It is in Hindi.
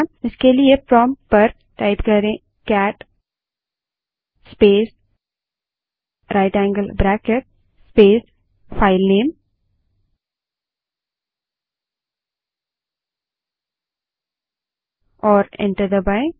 इसके लिए प्रोंप्ट पर cat space right angle bracket space filename type करें और एंटर दबायें